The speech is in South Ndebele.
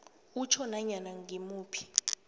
utjho nanyana ngimuphi